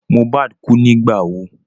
Mohbad kú nígbà wo?